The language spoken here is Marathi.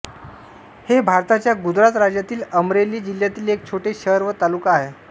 हे भारताच्या गुजरात राज्यातील अमरेली जिल्ह्यातील एक छोटे शहर व तालुका आहे